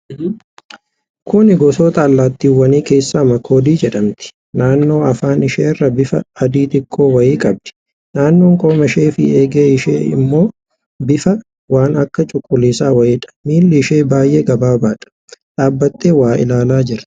Kuni gosoota allaattiwwanii keessaa Makoodii jedhamti. Naannoo Afaan isheerraa bifa adii xiqqoo wayii qabdi. Naannoon qomashee fi eegee ishee ammoo bifa waan akka cuquliisaa wayiidha. miilli ishee baay'ee gaggabaabaadha. Dhaabattee waa ilaalaa jirti.